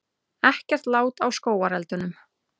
Ekkert lát á skógareldunum